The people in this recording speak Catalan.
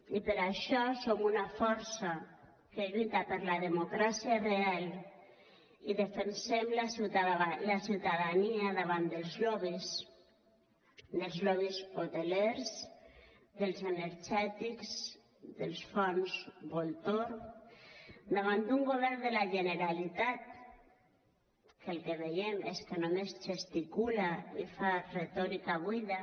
i per això som una força que lluita per la democràcia real i defensem la ciutadania davant dels lobbys dels lobbys hotelers dels energètics dels fons voltor davant d’un govern de la generalitat que el que veiem és que només gesticula i fa retòrica buida